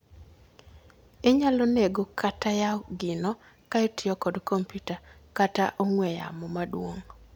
Inyalo nego kata Yao gino ka itiyo kod kompiuta kata ong'we yamo maduong'